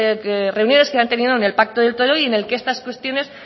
reuniones que han tenido en el pacto de toledo y en el que estas cuestiones